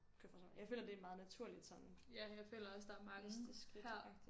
Kan jeg forstille mig jeg føler det er meget naturligt sådan næste skridt agtigt